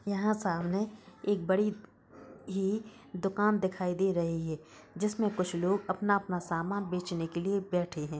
यहाँ सामने एक बड़ी ही दुकान दिखाई दे रही है जिसमें कुछ लोग अपना-अपना सामान बेचने के लिए बैठे हैं।